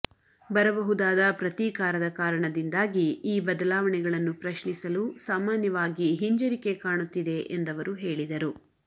ಬರಬಹುದಾದ ಪ್ರತೀಕಾರದ ಕಾರಣದಿಂದಾಗಿ ಈ ಬದಲಾವಣೆಗಳನ್ನು ಪ್ರಶ್ನಿಸಲು ಸಾಮಾನ್ಯವಾಗಿ ಹಿಂಜರಿಕೆ ಕಾಣುತ್ತಿದೆ ಎಂದವರು ಹೇಳಿದರು